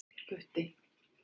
Gutti